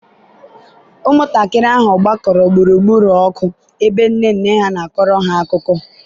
ụmụntakịrị ahụ gbakọrọ gburugburu ọkụ ebe nne nne ha na-akọ ha akụkọ.